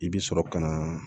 I bɛ sɔrɔ ka na